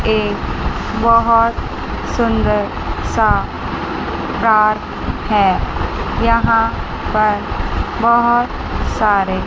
एक बहोत सुंदर सा पार्क है यहां पर बहोत सारे--